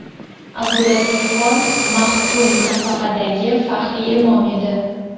Abdulatifxon maxdum nafaqadagi, faxriy imom edi.